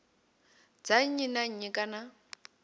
dza nnyi na nnyi kana